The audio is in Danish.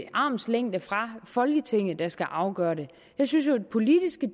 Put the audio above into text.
en armslængde fra folketinget der skal afgøre det jeg synes jo at politiske